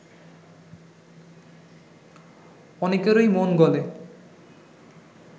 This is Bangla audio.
অনেকেরই মন গলে